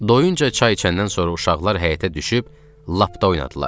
Doyunca çay içəndən sonra uşaqlar həyətə düşüb lapda oynadılar.